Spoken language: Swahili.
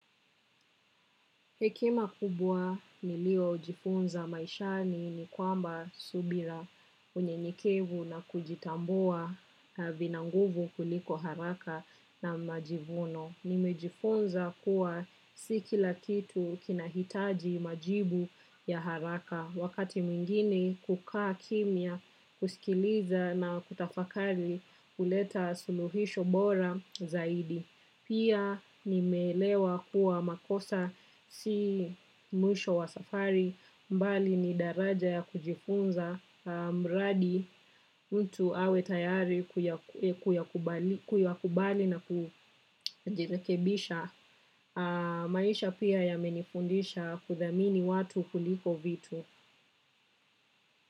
Hekima kubwa niliyojifunza maishani ni kwamba subira, unyenyekevu na kujitambua vina nguvu kuliko haraka na majivuno. Nimejifunza kuwa si kila kitu kinahitaji majibu ya haraka wakati mwingini kukaa kimya kusikiliza na kutafakari huleta suluhisho bora zaidi. Pia nimelewa kuwa makosa si mwisho wa safari mbali ni daraja ya kujifunza mradi mtu awe tayari kuyakubali na kujirekebisha. Maisha pia yamenifundisha kuthamini watu kuliko vitu.